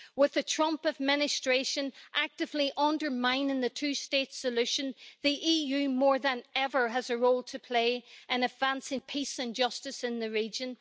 With the Trump Administration actively undermining the two state solution, the EU more than ever has a role to play in advancing peace and justice in the region.